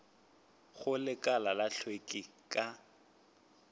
go lekala la hlweki ka